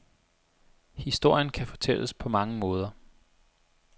Historien kan fortælles på mange måder.